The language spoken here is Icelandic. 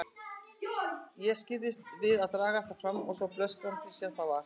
Ég skirrist við að draga það fram, svo blöskranlegt sem það er.